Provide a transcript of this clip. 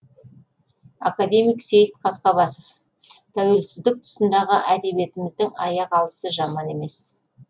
академик сейіт қасқабасов тәуелсіздік тұсындағы әдебиетіміздің аяқ алысы жаман емес